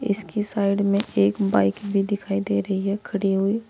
इसकी साइड में एक बाइक भी दिखाई दे रही है खड़ी हुई।